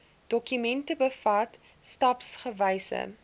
dokument bevat stapsgewyse